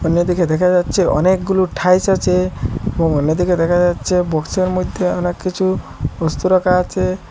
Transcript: অন্যদিকে দেখা যাচ্ছে অনেকগুলো ঠাইলস আচে এবং অন্যদিকে দেখা যাচ্ছে বক্সের মইধ্যে অনেককিছু বস্তু রাখা আচে।